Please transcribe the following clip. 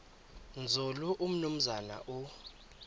nzulu umnumzana u